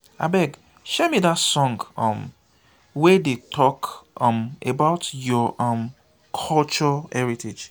abeg share me that song um wey dey talk um about your um culture heritage